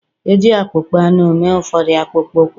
E ji akpụkpọ anụ mee ụfọdụ akpụkpọ ụkwụ